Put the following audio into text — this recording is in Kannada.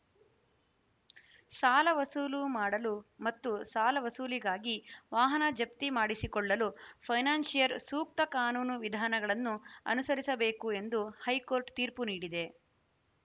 ಸಾಲ ವಸೂಲು ಮಾಡಲು ಮತ್ತು ಸಾಲ ವಸೂಲಿಗಾಗಿ ವಾಹನ ಜಪ್ತಿಮಾಡಿಸಿಕೊಳ್ಳಲು ಫೈನಾನ್ಷಿಯರ್‌ ಸೂಕ್ತ ಕಾನೂನು ವಿಧಾನಗಳನ್ನು ಅನುಸರಿಸಬೇಕು ಎಂದು ಹೈಕೋರ್ಟ್‌ ತೀರ್ಪು ನೀಡಿದೆ